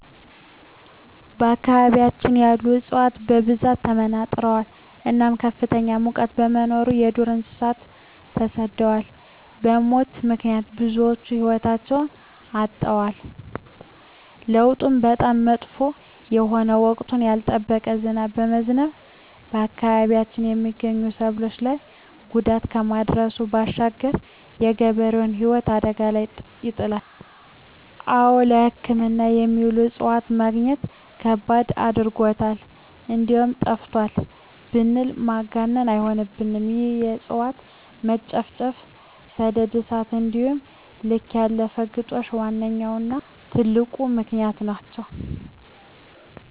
በአካባቢያችን ያሉ እፅዋት በብዛት ተመናምነዋል እናም ከፍተኛ ሙቀት በመኖሩ የዱር እንሰሳት ተሰደዋል በሙት ምክንያት ብዙወች ህይወታቸዉን አጠዋል። ለዉጡም በጣም መጥፎ የሆነ ወቅቱን ያልጠበቀ ዝናብ በመዝነቡ በአካባቢያችን የመገኙ ሰብሎች ላይ ጉዳት ከማድረሱም ባሻገር የገበሬዉን ህይወት አደጋ ላይ ይጥላል። አወ ለሕክምና የሚሆኑ እፅዋትን መግኘት ከባድ አድርጎታል እንደዉም ጠፍተዋል ብንል ማጋነን አይሆንም ይህም የእፅዋት መጨፍጨፍ፣ ሰደድ እሳት እንዲሆም ከልክ ያለፈ ግጦሽ ዋነኛዉና ትልቁ ምክንያት ናቸዉ።